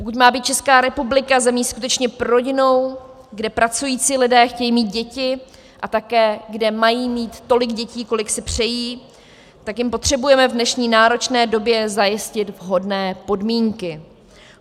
Pokud má být Česká republika zemí skutečně prorodinnou, kde pracující lidé chtějí mít děti a také kde mají mít tolik dětí, kolik si přejí, tak jim potřebujeme v dnešní náročné době zajistit vhodné podmínky.